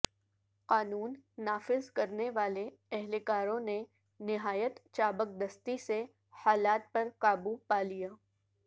قانون نافذ کرنے والے اہلکاروں نے نہایت چابکدستی سے حالات پر قابو پا لیا